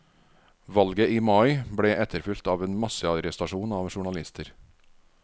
Valget i mai ble etterfulgt av en massearrestasjon av journalister.